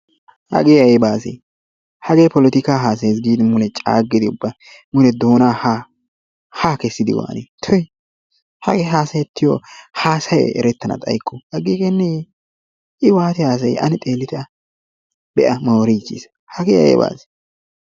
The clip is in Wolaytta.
Hagee ayba asee hagee polotikaa hasayayiis giidi mule caaggidi ubba mule doonaa ha ha kessiidi waanii? tuy hagee hasayettiyoo hasayay erettana xaayiko agiigeneyee? i ubba waati hasayii ane xeellite a be'a mooriichiis hagee ayba asee?